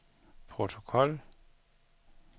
protokol